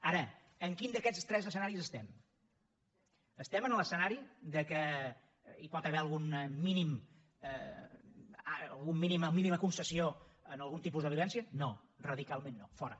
ara en quin d’aquests tres escenaris estem estem en l’escenari que hi pot haver alguna mínima concessió a algun tipus de violència no radicalment no fora